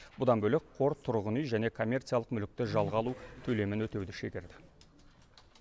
бұдан бөлек қор тұрғын үй және коммерциялық мүлікті жалға алу төлемін өтеуді шегерді